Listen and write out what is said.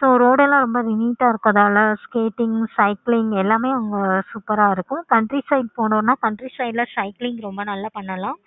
so road எல்லாம் ரொம்ப neat ஆஹ் இறுக்கனால scating, cycling எல்லாமே அங்க super ஆஹ் இருக்கும். country side போணும்னா country side ல cycling ரொம்ப நல்ல பண்ணலாம்.